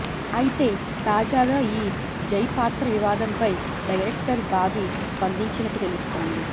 అయితే తాజాగా ఈ జై పాత్ర వివాదంపై డైరెక్టర్ బాబి స్పందించినట్టు తెలుస్తోంది